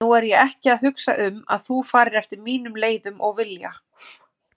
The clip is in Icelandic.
Nú er ég ekki að hugsa um að þú farir eftir mínum leiðum og vilja.